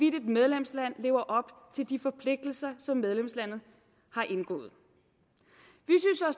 et medlemsland lever op til de forpligtelser som medlemslandet har indgået